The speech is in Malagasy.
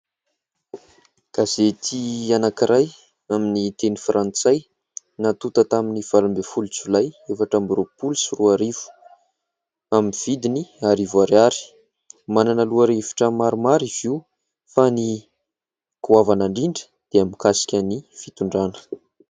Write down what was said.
Gazety anakiray amin'ny teny frantsay natonta tamin'ny valo ambiny folo Jolay efatra amin'ny roapolo sy roarivo amin'ny vidiny arivo ariary, manana lohahevitra maromaro izy io, fa ny goavana indrindra dia mikasika ny fitondrana.